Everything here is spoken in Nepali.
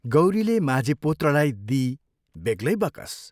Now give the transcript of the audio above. गौरीले माझी पुत्रलाई दिई बेग्लै बकस।